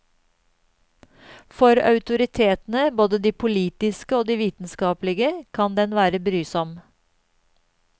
For autoritetene, både de politiske og de vitenskapelige, kan den være brysom.